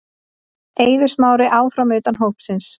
Eiður Smári áfram utan hóps